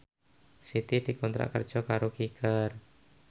Siti dikontrak kerja karo Kicker